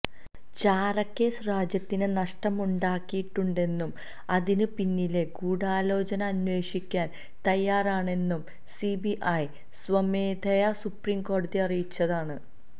ചാരക്കേസ് രാജ്യത്തിന് നഷ്ടമുണ്ടാക്കിയിട്ടുണ്ടെന്നും അതിന് പിന്നിലെ ഗൂഢാലോചന അന്വേഷിക്കാന് തയ്യാറാണെന്നും സിബിഐ സ്വമേധയാ സുപ്രീംകോടതിയെ അറിയിച്ചതാണ്